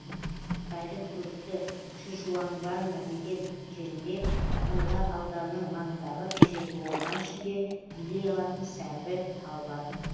қытайдың көрікті шишуаңбанна деген жерінде мыңла ауданының маңындағы ежелгі орман ішінде билей алатын сәмбі тал бар